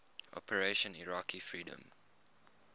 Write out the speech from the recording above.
operation iraqi freedom